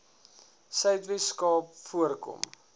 suidwes kaap voorkom